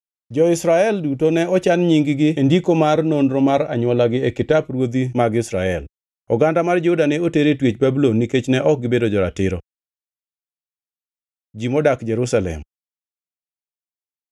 Jo-Israel duto ne ochan nying-gi e ndiko mar nonro mar anywolagi e kitap ruodhi mag Israel. Oganda mar Juda ne oter e twech Babulon nikech ne ok gibedo jo-ratiro. Ji modak Jerusalem